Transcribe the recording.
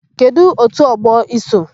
Kedụ òtù ọgbọ i so?